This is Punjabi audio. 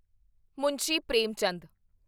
ਮੁਨਸ਼ੀ ਪ੍ਰੇਮਚੰਦ